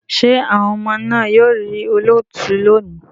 Ṣé àwọn ọmọ náà yóò rí olóòtú lónìí?